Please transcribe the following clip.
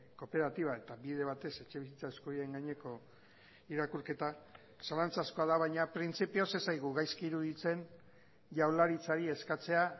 kooperatiba eta bide batez etxebizitza eskubideen gaineko irakurketa zalantzazkoa da baina printzipioz ez zaigu gaizki iruditzen jaurlaritzari eskatzea